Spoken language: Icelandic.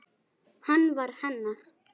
Hann var hennar.